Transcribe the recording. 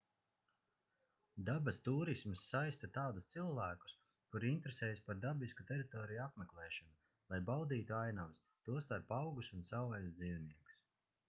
dabas tūrisms saista tādus cilvēkus kuri interesējas par dabisku teritoriju apmeklēšanu lai baudītu ainavas tostarp augus un savvaļas dzīvniekus